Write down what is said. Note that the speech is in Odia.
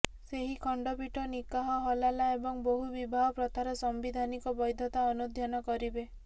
ସେହି ଖଣ୍ଡପୀଠ ନିକାହ ହଲାଲା ଏବଂ ବହୁ ବିବାହ ପ୍ରଥାର ସାମ୍ବିଧାନିକ ବୈଧତା ଅନୁଧ୍ୟାନ କରିବେ